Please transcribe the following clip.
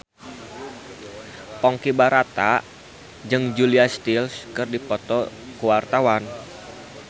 Ponky Brata jeung Julia Stiles keur dipoto ku wartawan